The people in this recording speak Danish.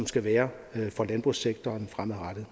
skal være for landbrugssektoren fremadrettet